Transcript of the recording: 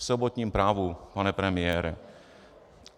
- V sobotním Právu, pane premiére.